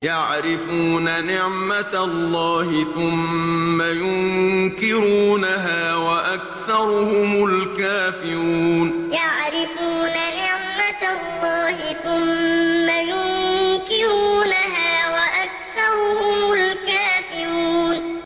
يَعْرِفُونَ نِعْمَتَ اللَّهِ ثُمَّ يُنكِرُونَهَا وَأَكْثَرُهُمُ الْكَافِرُونَ يَعْرِفُونَ نِعْمَتَ اللَّهِ ثُمَّ يُنكِرُونَهَا وَأَكْثَرُهُمُ الْكَافِرُونَ